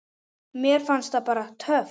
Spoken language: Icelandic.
Mér fannst það bara. töff.